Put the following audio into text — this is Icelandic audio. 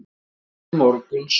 Sofa til morguns.